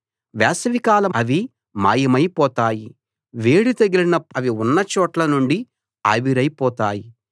వేసవికాలంలో అవి మాయమైపోతాయి వేడి తగిలినప్పుడు అవి ఉన్నచోట్ల నుండి ఆవిరైపోతాయి